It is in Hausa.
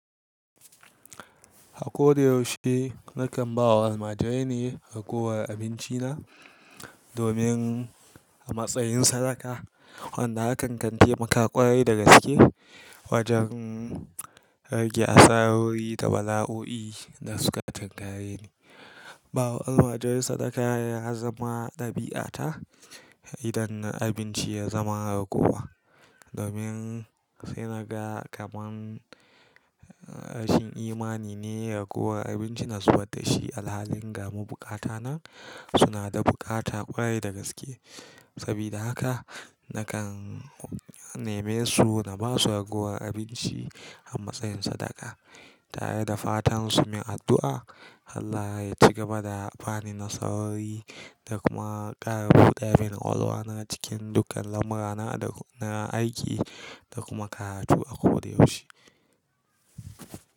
A koda yaushe nakan ba wa almajirai ne raguwar abinci na domin a matsayin sadaka. Wanda hakan kante maka ƙwarai da gaske wajen rage asarori da bala'o'i da suka tangari ne. Ba wa almajirai sadaka ya zama ɗabi'a ta idan na abinci ya zama ragowa, domin sai naga kaman rashin imani ne raguwar abinci na zuɓar da shi. Alhali gam buƙata na suna da buƙata ƙwarai da gaske. Sabida haka nakan neme su na basu raguwar abinci a matsayin sadaka, tare da fatan su min addu'a Allah ya cigaba da bani nasarori da kuma ƙara buɗamin kwalwa na cikin dukkan lamura na da na aiki da kuma karatu a koda yaushe.